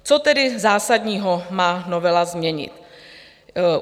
Co tedy zásadního má novela změnit?